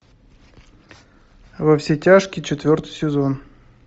во все тяжкие четвертый сезон